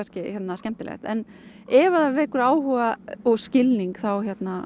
skemmtilegt en ef það vekur áhuga og skilning þá